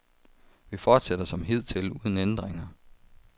Vi fortsætter som hidtil uden ændringer.